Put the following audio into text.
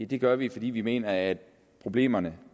det gør vi ikke fordi vi mener at problemerne